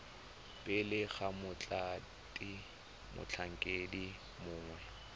pele ga mothati motlhankedi mongwe